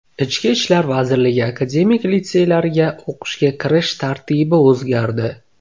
Ichki ishlar vazirligi akademik litseylariga o‘qishga kirish tartibi o‘zgardi.